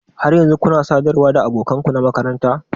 Har yanzu kuna sadarwa da abokan ku na makaranta?